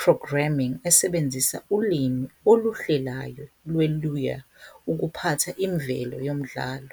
Programming esebenzisa ulimi oluhlelayo lweLua ukuphatha imvelo yomdlalo.